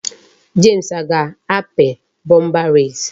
James a ga-api bomba res?